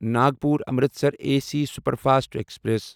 Nagpur Amritsar A C superfast express